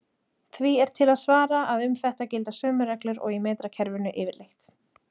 Því er til að svara að um þetta gilda sömu reglur og í metrakerfinu yfirleitt.